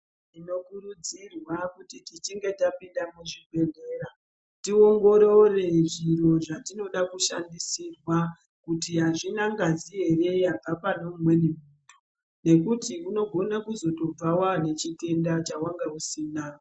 Tinokurudzirwa kuti tichinge tapinda muzvibhehlera tiongorore zviro zvatinoda kushandisirwa kuti azvina ngazi ere yabva pane umweni muntu ngekuti unogona kuzobva waane chitenda chawanga usina.